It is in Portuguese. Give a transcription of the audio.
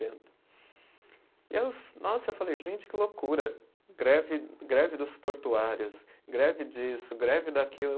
E eu, nossa eu falei, gente, que loucura, greve greve dos portuários, greve disso, greve daquilo, aí eu